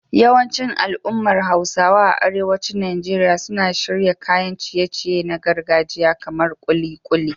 Yawancin al'ummar Hausawa a arewacin Najeriya suna shirya kayan ciye-ciye na gargajiya kamar kulikuli